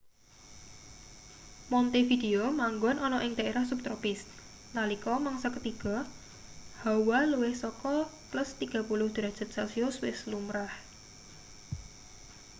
montevideo manggon ana ing daerah subtropis; nalika mangsa ketiga hawa luwih saka +30°c wis lumrah